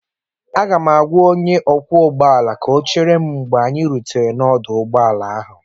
Aga m agwa onye ọkwọ ụgbọ ala ka ọ chetara m mgbe anyị rutere n'ọdụ ụgbọ ala ahụ